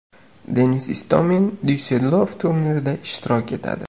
Denis Istomin Dyusseldorf turnirida ishtirok etadi.